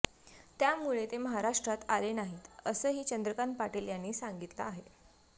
त्यामुळे ते महाराष्ट्रात आले नाहीत असंही चंद्रकांत पाटील यांनी सांगितलं आहे